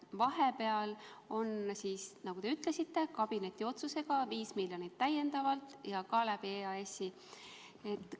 Vahepeal on, nagu te ütlesite, kabineti otsusega eraldatud täiendavalt 5 miljonit, ja ka EAS-i kaudu.